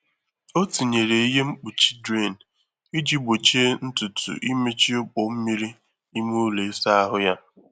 Ọ tinyere ihe mkpuchi drain iji gbochie ntutu imechi ọkpọ mmiri ime ụlọ ịsa ahụ.